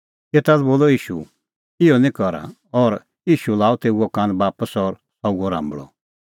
एता लै बोलअ ईशू हुअ इहअ निं करा और ईशू लाअ तेऊओ कान बापस और सह हुअ राम्बल़अ